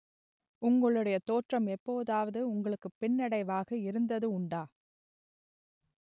உங்களுடைய தோற்றம் எப்போதாவது உங்களுக்கு பின்னடைவாக இருந்தது உண்டா